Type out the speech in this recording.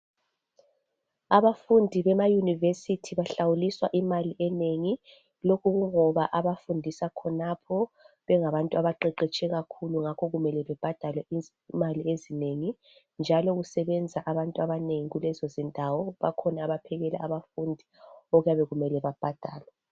Abafundi bemaYunivesi bahlawuliswa imali enengi lokhu kungoba abafundiswa khonapho bengabantu abaqeqetshe kakhulu ngakho kumele bebhadale imali ezinengi njalo kusebenza abantu abanengi kulezo zindawo. Bakhona abaphekela abafundi okuyabe kumele babhadalwe.